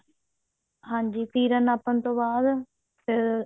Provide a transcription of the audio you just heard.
ਹਾਂਜੀ ਤੀਰਾ ਨਾਪਣ ਤੋਂ ਬਾਅਦ